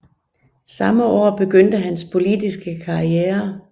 Samme år begyndte hans politiske karriere